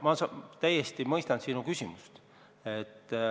Ma täiesti mõistan sinu küsimust.